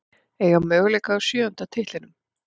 Eiga möguleika á sjöunda titlinum